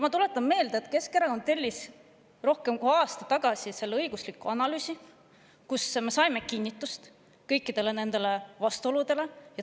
Ma tuletan meelde, et rohkem kui aasta aega tagasi tellis Keskerakond õigusliku analüüsi, kus me saime kinnitust kõikidele nendele vastuoludele.